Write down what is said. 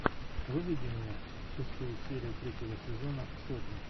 выведи мне шестую серию третьего сезона сотня